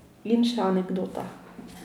In še anekdota.